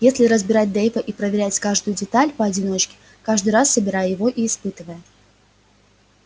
если разбирать дейва и проверять каждую деталь поодиночке каждый раз собирая его и испытывая